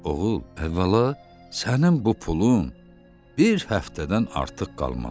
Oğul, əvvəla sənin bu pulun bir həftədən artıq qalmaz.